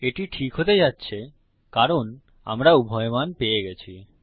এটি ঠিক হতে যাচ্ছে কারণ আমরা উভয় মান পেয়ে গেছি